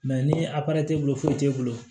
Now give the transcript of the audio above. ni a t'e bolo foyi t'e bolo